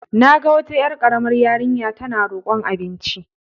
Na ga wata ƴar ƙaramar yarinya tana roƙon abinci.